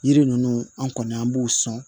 Yiri ninnu an kɔni an b'u sɔn